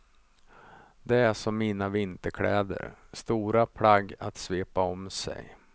Det är som mina vinterkläder, stora plagg att svepa om sig.